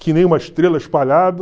Que nem uma estrela espalhada.